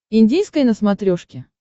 индийское на смотрешке